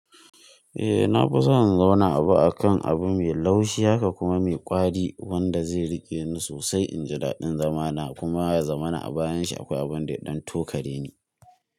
Eh na kusa in zauna abu akan abu mai laushi haka kuma mai ƙwari wanda zai riƙe ni sosai inji daɗin zamana kuma ya zamana a bayan shi akwai abin da ya ɗan tokareni.